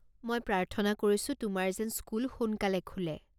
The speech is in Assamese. মই প্ৰাৰ্থনা কৰিছোঁ তোমাৰ যেন স্কুল সোনকালে খোলে।